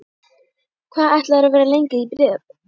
Hvað ætlarðu að vera lengi í Breiðablik?